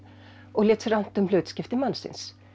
og lét sér annt um hlutskipti mannsins